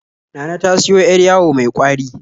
Nana ta siyo 'yar yawo mai ƙwari